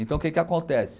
Então, o que que acontece?